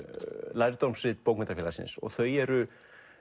lærdómsrit bókmenntafélagsins og þau eru